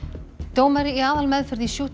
dómari í aðalmeðferð í